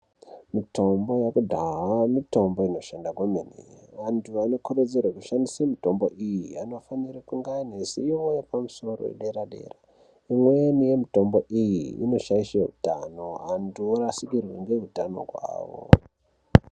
Mitombo yekudhaya mitombo inoshanda kwemene antu anokurudzirwa kushandise mitombo iyi anofanira kunge ane ziyo yepamusoro yedera yedera imweni yemitombo iyi inoshaishe utano antu orasikirwe ngehutano hwavo.